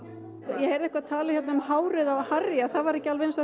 ég heyrði eitthvað talað um hárið á Harry að það væri ekki alveg eins og